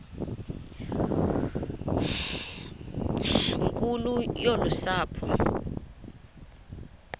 nkulu yolu sapho